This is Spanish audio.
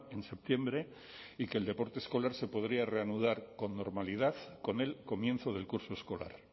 en septiembre y que el deporte escolar se podría reanudar con normalidad con el comienzo del curso escolar